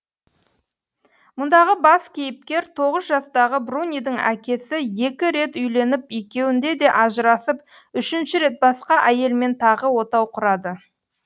мұндағы бас кейіпкер тоғыз жастағы брунидің әкесі екі рет үйленіп екеуінде де ажырасып үшінші рет басқа әйелмен тағы отау құрады